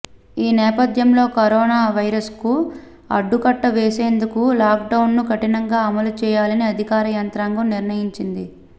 ఈ నేపథ్యంలో కరోనా వైరస్కు అడ్డుకట్ట వేసేందుకు లాక్డౌన్ను కఠినంగా అమలు చేయాలని అధికార యంత్రాంగం నిర్ణయించింది